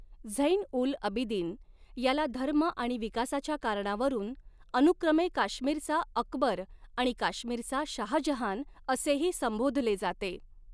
झैन उल अबिदिन याला धर्म आणि विकासाच्या कारणावरून अनुक्रमे काश्मिरचा अकबर आणि काश्मिरचा शाहजहान असेही संबोधले जाते.